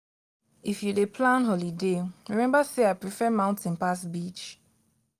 if you dey plan holiday rememba sey i prefer mountain pass beach.